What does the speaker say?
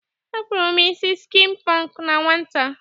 Akpụrụ m isi skin pọnk na nwata.